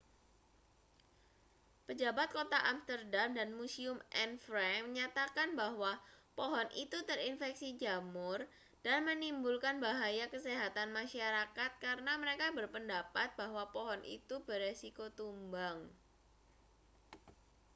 pejabat kota amsterdam dan museum anne frank menyatakan bahwa pohon itu terinfeksi jamur dan menimbulkan bahaya kesehatan masyarakat karena mereka berpendapat bahwa pohon itu berisiko tumbang